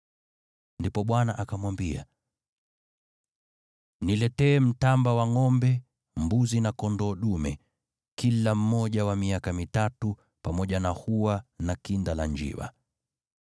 Ndipo Bwana akamwambia, “Niletee mtamba wa ngʼombe, mbuzi na kondoo dume, kila mmoja wa miaka mitatu, pamoja na hua na kinda la njiwa.”